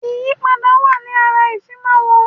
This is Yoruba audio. Ìyípadà wa ní ara ìfimáwọ̀